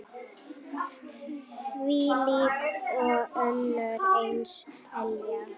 Þvílík og önnur eins elja.